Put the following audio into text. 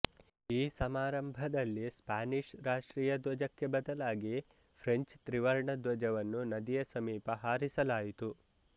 ಈ ಸಮಾರಂಭದಲ್ಲಿ ಸ್ಪಾನಿಷ್ ರಾಷ್ಟ್ರೀಯ ಧ್ವಜಕ್ಕೆ ಬದಲಾಗಿ ಫ್ರೆಂಚ್ ತ್ರಿವರ್ಣ ಧ್ವಜವನ್ನು ನದಿಯ ಸಮೀಪ ಹಾರಿಸಲಾಯಿತು